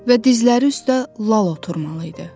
Və dizləri üstə lal oturmalı idi.